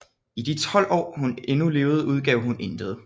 I de 12 Aar hun endnu levede udgav hun intet